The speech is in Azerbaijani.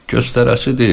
Göstərəsi deyil.